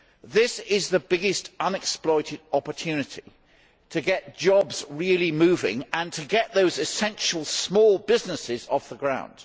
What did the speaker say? This is the biggest unexploited opportunity to get jobs really moving and to get those essential small businesses off the ground.